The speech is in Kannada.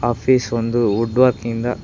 ಆಫೀಸ್ ಒಂದು ವುಡ್ ವರ್ಕ್ ಇಂದ--